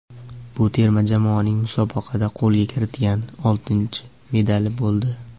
Bu terma jamoaning musobaqada qo‘lga kiritgan oltinchi medali bo‘ldi.